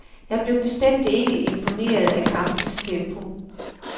Jeg blev bestemt ikke imponeret af kampens tempo.